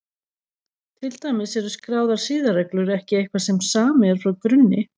Til dæmis eru skráðar siðareglur ekki eitthvað sem samið er frá grunni.